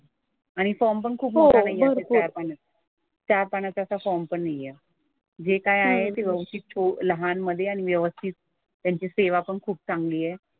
आणि फॉर्म पण खूप मोठा नाही आहे असा चार पानी. चार पानाचा असा फॉर्म पण नाही आहे. जे काय आहे ते व्यवस्थित छो लहान मधे आणि व्यवस्थित. त्यांची सेवा पण खूप चांगली आहे.